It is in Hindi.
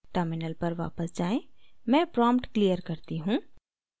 terminal पर वापस जाएँ मैं prompt clear करती हूँ